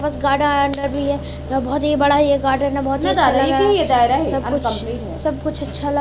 यह बहोत ही बड़ा ये गार्डेन है सब कुछ सब कुछ अच्छा ल--